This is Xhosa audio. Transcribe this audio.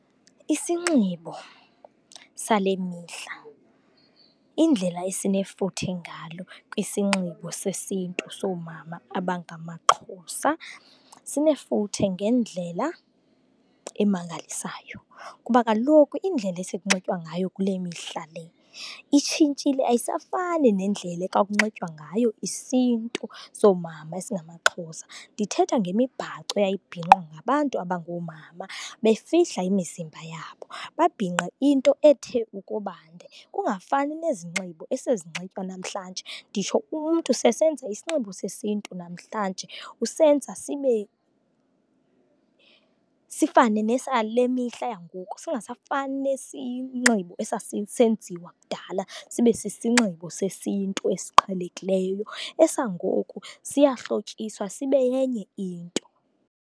Isinxibo sale mihla, indlela esinefuthe ngalo kwisinxibo sesintu soomama abangamaXhosa. Sinefuthe ngendlela emangalisayo kuba kaloku indlela esekunxitywa ngayo kule mihla itshintshile, ayisafani nendlela ekwakunxitywa ngayo isiNtu soomama esingamaXhosa. Ndithetha ngemibhaco eyayibhinqwa ngabantu abangoomama, befihla imizimba yabo. Babhinqe into ethe ukuba nde, kungafani nezinxibo esezinxitywa namhlanje. Nditsho umntu seyesenza isinxibo sesintu namhlanje, usenza sibe sifane nesale mihla yangoku, singasafani nesinxibo esasisenziwa kudala, sibe sisinxibo sesintu esiqhelekileyo. Esangoku siyahlotyiswa sibe yenye into.